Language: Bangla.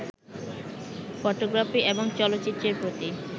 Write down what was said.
ফটোগ্রাফি এবং চলচ্চিত্রের প্রতি